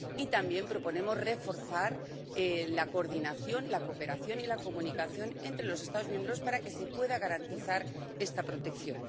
También proponemos reforzar la coordinación, la cooperación y la comunicación entre los Estados miembros para que se pueda garantizar esta protección.